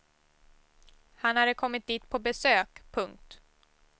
Han hade kommit dit på besök. punkt